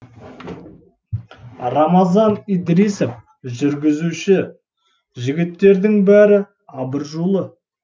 рамазан идрисов жүргізуші жігіттердің бәрі абыржулы